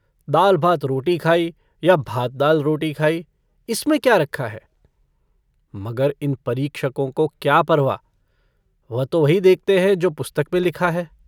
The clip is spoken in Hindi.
दाल-भात रोटी खाई या भात-दालरोटी खाई। इसमें क्या रखा है? मगर इन परीक्षकों को क्या परवाह? वह तो वही देखते हैं जो पुस्तक में लिखा है।